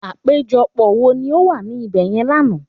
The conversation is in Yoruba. Àpéjọpọ̀ wo ni ọ wà ní ibèyen l'ana?